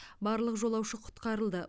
барлық жолаушы құтқарылды